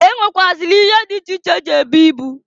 E nwekwuazịli ihe dị iche iche eji ebu ibu.